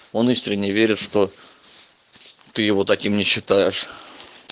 он искренне верит что ты его таким не считаешь